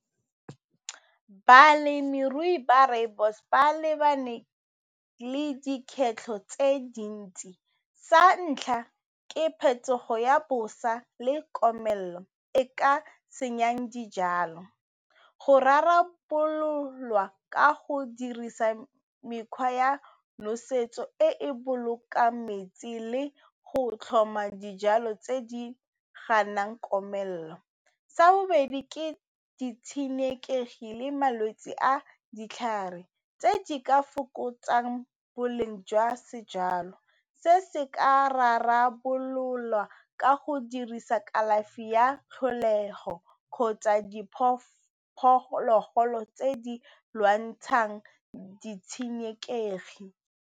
Malemirui ba rooibos ba lebane le tse dintsi sa ntlha ke phetogo ya bosa le komelelo e ka senyang dijalo go rarabololwa ka go dirisa mekgwa ya nosetso e e bolokang metsi le go tlhoma dijalo tse di ganang komelelo, sa bobedi ke ditshenekegi le malwetsi a ditlhare tse di ka fokotsang boleng jwa sejalo se se ka rarabololwa ka go dirisa kalafi ya tlholego kgotsa diphologolo tse di lwantshang ditshenekegi.